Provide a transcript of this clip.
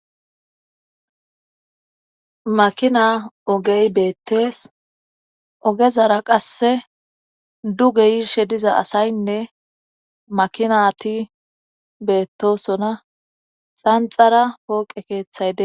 makina ogey beettees ogezara qasse duge yiirshe diza asaynne makinati beettosona xanxara pooqe keeththayde